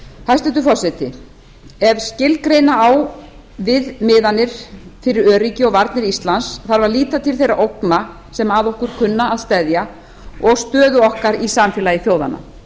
hæstvirtur forseti ef skilgreina á viðmiðanir fyrir öryggi og varnir íslands þarf að líta til þeirra ógna sem að okkur kann að steðja og stöðu okkar í samfélagi þjóðanna